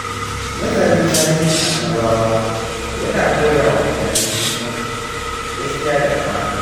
Nazarin tarihin Annabawa ya na koya wa mutane muhimmancin gaskiya da amana.